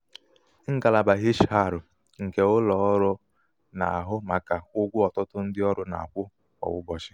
*ngalaba hr nke ụlọ ọrụ ọrụ na-ahụ màkà ụgwọ ọtụtụ ndị ọrụ na-akwụ kwa ụbọchị.